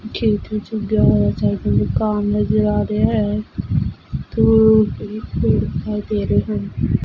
ਖੇਤ ਵਿਚ ਉਗਯਾ ਹੋਇਆ ਸਾਰੇ ਪਾਸੇ ਖਾ ਨਜ਼ਰ ਆ ਰਿਹਾ ਹੈ ਦੂਰ ਪੇੜ ਵੀ ਦਿਖਾਈ ਦੇ ਰਹੇ ਹਨ।